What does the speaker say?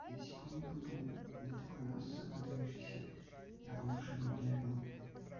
да если бы у меня был бы не такой нос выдающийся я бы уже бы бегал